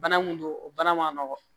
Bana mun don o bana ma nɔgɔn